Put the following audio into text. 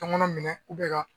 Tɔnkɔnɔn minɛ ka